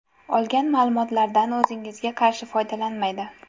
Olgan ma’lumotlardan o‘zingizga qarshi foydalanmaydi.